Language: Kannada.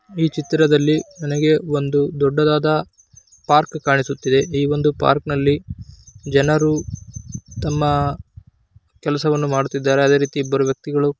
ಈ ಚಿತ್ರದಲ್ಲಿ ನನಗೆ ಒಂದು ದೊಡ್ಡದಾದ ಪಾರ್ಕ್ ಕಾಣಿಸ್ತಾ ಇದೆ ಈ ಒಂದು ಪಾರ್ಕಲ್ಲಿ ಜನರು ತಮ್ಮ ಕೆಲಸ ವನ್ನು ಮಾಡುತ್ತಿದ್ದಾರೆ ಅದೇ ರೀತಿ ಇಬ್ಬರು ವ್ಯಕ್ತಿಗಳು --